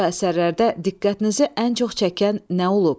Bu əsərlərdə diqqətinizi ən çox çəkən nə olub?